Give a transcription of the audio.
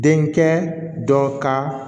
Den kɛ dɔ ka